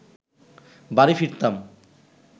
বাড়ি ফিরতাম